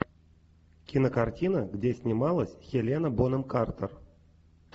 кинокартина где снималась хелена бонем картер